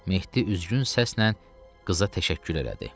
Mehdi üzgün səslə qıza təşəkkür elədi.